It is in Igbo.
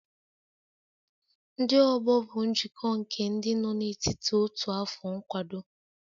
Ndị ọgbọ bụ njikọ nke ndị nọ n'etiti otu afọ nkwado